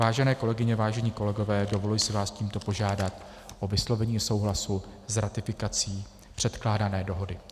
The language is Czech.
Vážené kolegyně, vážení kolegové, dovoluji si vás tímto požádat o vyslovení souhlasu s ratifikací předkládané dohody.